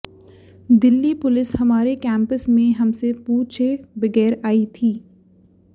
Delhi police हमारे campus में हमसे पूछे बगैर आई थी